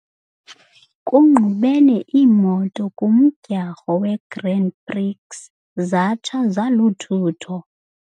Kungqubene iimoto kumdyharho weGrand Prix zatsha zaluthutho.